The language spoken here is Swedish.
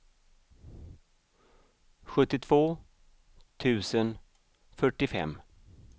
sjuttiotvå tusen fyrtiofem